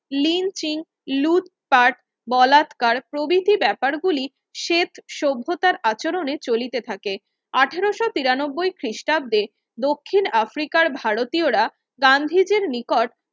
lynching লুটপাট বলাৎকার প্ৰভৃতি ব্যাপার গুলি সেত সভ্যতার আচরণে চলিতে থাকে আঠারোশো তিরানব্বই খ্রিস্টাব্দে দক্ষিন আফ্রিকার ভারতীয়রা গান্ধীজির নিকট